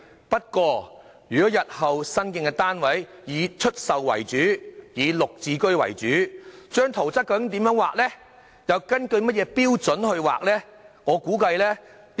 不過，如果日後新建的單位以出售為主、以"綠置居"為主，圖則又該如何繪畫及根據甚麼標準去繪畫呢？